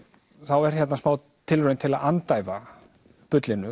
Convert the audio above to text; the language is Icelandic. er hérna smá tilraun til að andæfa bullinu